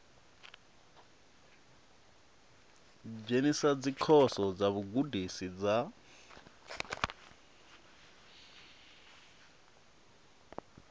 dzhenisa dzikhoso dza vhugudisi dza